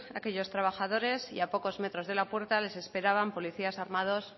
aquellos trabajadores y a pocos metros de la puerta les esperaban policías armados